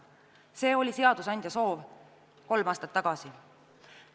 See oli seadusandja soov kolm aastat tagasi.